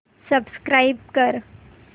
subscribe कर